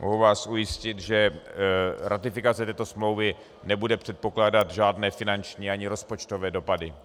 Mohu vás ujistit, že ratifikace této smlouvy nebude předpokládat žádné finanční ani rozpočtové dopady.